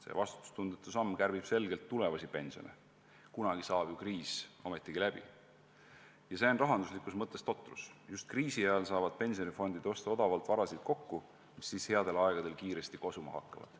See vastutustundetu samm kärbib selgelt tulevasi pensione ja on rahanduslikus mõttes totrus, sest just kriisi ajal saaksid pensionifondid osta odavalt kokku varasid, mis headel aegadel kiiresti kosuma hakkaksid.